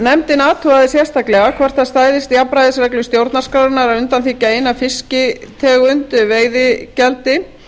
nefndin athugaði sérstaklega hvort það stæðist jafnræðisreglu stjórnarskrárinnar að undanþiggja eina fisktegund veiðigjaldi